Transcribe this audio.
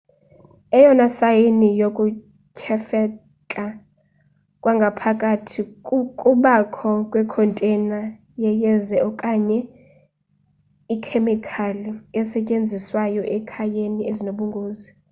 eyona sayini yokuthyefeka kwangaphakathi kukubakho kwe container yeyeza okanye ikhemikhali ezisetyenziswayo ekhayeni ezinobungozi